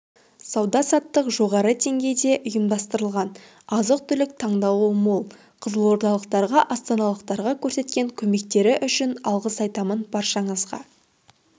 сауда-саттық жоғары деңгейде ұйымдастырылған азық-түлік таңдауы мол қызылордалықтарға астаналықтарға көрсеткен көмектері үшін алғыс айтамын баршаңызға